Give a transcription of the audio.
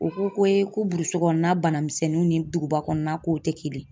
U ko ko ko burusi kɔnɔna banamisɛnninw ni duguba kɔnɔna k'o tɛ kelen ye